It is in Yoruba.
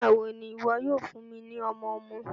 Nigbawo ni iwọ yoo fun mi ni ọmọ-ọmọ?